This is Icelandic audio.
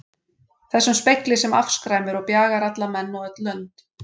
Þessum spegli sem afskræmir og bjagar alla menn og öll lönd.